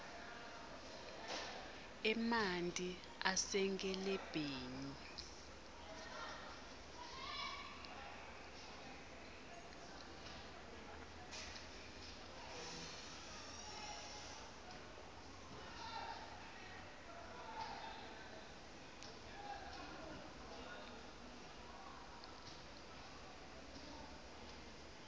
emanti asenkelebheni